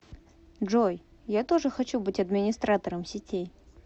джой я тоже хочу быть администратором сетей